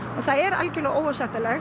og það er algjörlega óásættanlegt